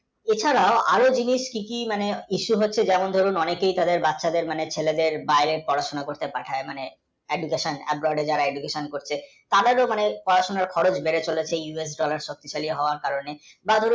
এ ছাড়া ও আরও জিনিস কী কী বেশি হচ্ছে যেমন বাড়িতে বাচ্চাদের মানে ছেলেদের বাইরে পড়াশোনা করতে পাঠায় মানে admission, abroad যারা education করছে তাদেরও খরচ বেড়ে চলেছে dollar শক্ত হওয়ার কারণে বা ধরুন